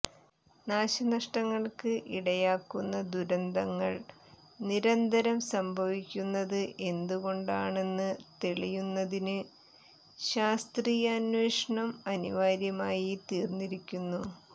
നാശനഷ്ടങ്ങൾക്ക് ഇടയാക്കുന്ന ദുരന്തങ്ങൾ നിരന്തരം സംഭവിക്കുന്നത് എന്തുകൊണ്ടാണെന്ന് തെളിയുന്നതിന് ശാസ്ത്രീയാന്വേഷണം അനിവാര്യമായി തീർന്നിരിക്കുന്നു